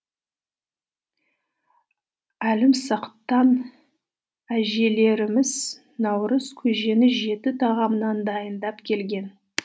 әлімсақтан әжелеріміз наурызкөжені жеті тағамнан дайындап келген